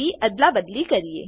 અદલાબદલી કરીએ